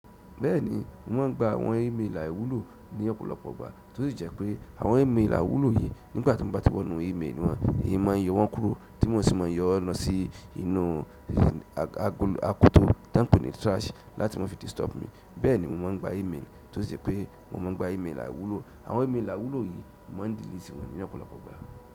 Bẹ́ẹ̀ni, wọ́n ń gba àwọn ímeèlì àìwúlò ní ọ̀pọ̀lọpọ̀ ìgbà, tó sì jẹ́ pé àwọn ímeèlì àwúlò yí nígbà tí mo bá ti wọ inú email wọ́n, èmi máa ń yọ wọ́n kúrò tí mo sì máa yọ ọ́ lọ sí inú akoto t'ọ́n ń pè ní trash láti má fi disturb mi. Bẹ́ẹ̀ni, mo máa ń gba email, tó sì jẹ́ pé mo máa ń gba email àìwúlò. Àwọn email àwúlò yí má ń delete wọn ní ọ̀pọ̀lọpọ̀ ọgbà.